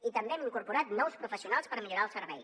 i també hem incorporat nous professionals per millorar el servei